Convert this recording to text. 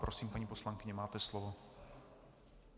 Prosím, paní poslankyně, máte slovo.